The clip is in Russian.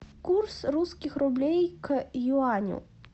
курс русских рублей к юаню